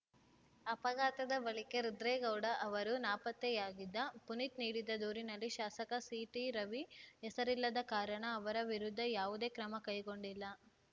ಅಪಘಾತದ ಬಳಿಕೆ ರುದ್ರೇಗೌಡ ಅವರು ನಾಪತ್ತೆಯಾಗಿದ್ದ ಪುನೀತ್‌ ನೀಡಿದ ದೂರಿನಲ್ಲಿ ಶಾಸಕ ಸಿಟಿರವಿ ಹೆಸರಿಲ್ಲದ ಕಾರಣ ಅವರ ವಿರುದ್ಧ ಯಾವುದೇ ಕ್ರಮ ಕೈಗೊಂಡಿಲ್ಲ